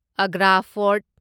Agra fort